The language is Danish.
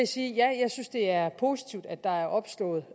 sige ja jeg synes det er positivt at der er opslået